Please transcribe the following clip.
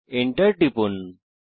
Enter টিপুন